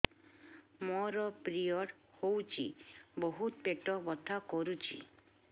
ମୋର ପିରିଅଡ଼ ହୋଇଛି ବହୁତ ପେଟ ବଥା କରୁଛି